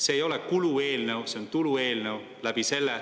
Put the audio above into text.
See ei ole kulueelnõu, see on tulueelnõu.